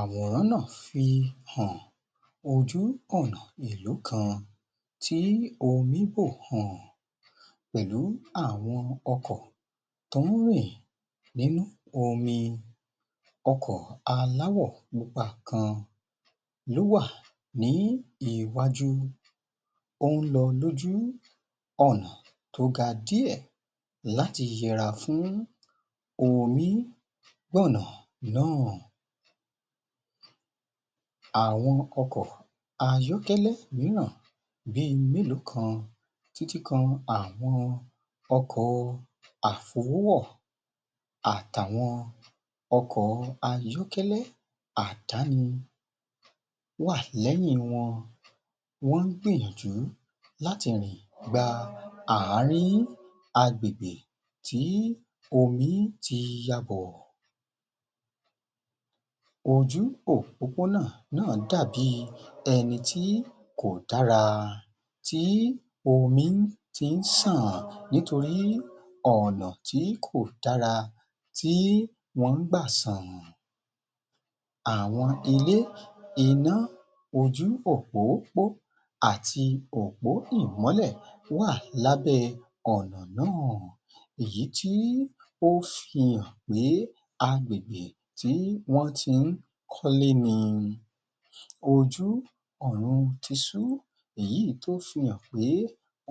Àwòrán náà fi hàn, ojú ọ̀nà ìlú kan tí omí bò um pẹ̀lú àwọn ọkọ̀ tó ń rìn ni omi, ọkọ̀ aláwọ̀ pupa kan ló wà ní iwájú, ó ń lọ lójú ọ̀nà tó ga díẹ̀ láti yẹra fún. àwọn ọkọ̀ ayọ́kẹ́lẹ́ mìíràn bíi mélòó kan títí kan àwọn ọkọ̀ àfowówọ̀ àti àwọn ọkọ̀ ayọ́kẹ́lẹ́ àdáni wà lẹ́yìn wọn, wọ́n ń gbìyànjú láti rìn gba ààrín agbègbè tí omi ti yabọ̀. Ojú òpópónà náà dàbí ẹni tí kò dára, tí omi ti ń ṣàn nítorí ọ̀nà tí kò dára tí wọ́n ń gbà ṣàn. Àwọn ilé iná ojú òpópó àti òpó ìmọ́lẹ̀ wà lábẹ́ ọ̀nà náà, èyí tí ó fihàn pé agbègbè tí wọ́n ti ń kọ́lé ni ojú èyí tó fihàn pé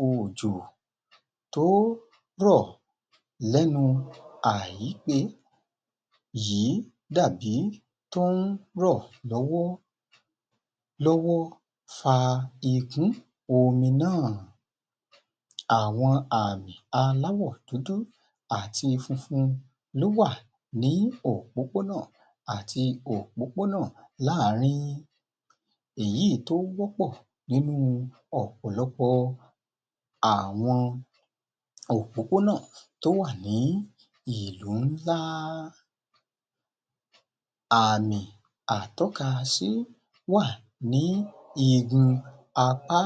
òjò tó rọ̀ lẹ́nu yìí dàbí tó ń rọ̀ lọ́wọ́lọ́wọ́ fa ìkún omi náà. Àwọn àmì aláwọ̀ dúdú àti funfun ló wà ní òpópónà àti òpópónà láàrin èyí tó wọ́pọ̀ nínú ọ̀pọ̀lọpọ̀ àwọn òpópónà tó wà ní ìlú ńlá. Àmì atọ́kasí wà ní igun apá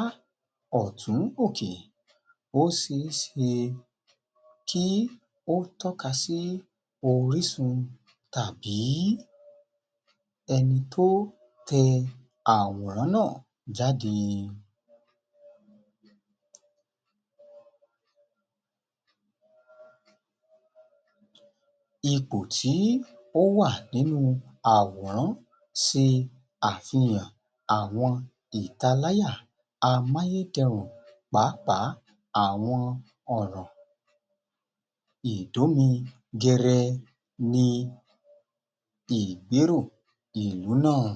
ọ̀tún òkè, ó ṣeé ṣe kí ó tọ́ka sí orísun tàbí ẹni tó tẹ àwòrán náà jáde. Ipò tí ó wà nínú àwòrán ṣe àfihàn àwọn ìtaláyà amáyédẹrùn pàápàá àwọn ọ̀nà. Ìdómi gẹrẹ ni ìgbérò ìlú náà